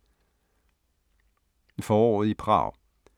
Foråret i Prag